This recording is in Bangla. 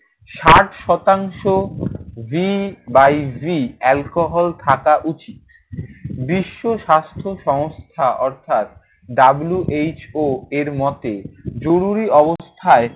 ষাট শতাংশ B by V alcohol থাকা উচিত। বিশ্ব স্বাস্থসংস্থা অর্থাৎ WHO এর মতে জরুরি অবস্থায়